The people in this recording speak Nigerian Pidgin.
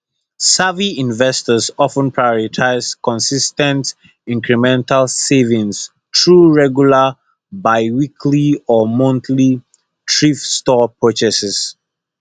savvy investors of ten prioritize consis ten t incremental savings through regular biweekly or monthly thrift store purchases